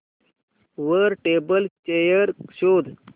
वर table chair शोध